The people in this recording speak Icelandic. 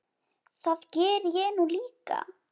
Það geri ég nú líka.